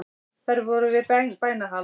Þeir voru þar við bænahald